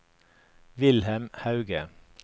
Wilhelm Hauge